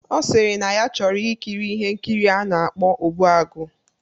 Ọ sịrị na ya chọrọ ikiri ihe nkiri a na-akpọ "Ogbuagu"